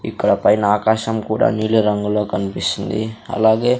ఇక్కడ పైన ఆకాశం కూడా నీలి రంగులో కన్పిస్తుంది అలాగే--